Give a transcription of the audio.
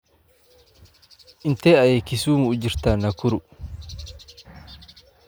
Intee ayay Kisumu u jirtaa Nakuru?